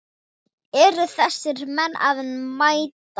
Eru þessir menn að mæta?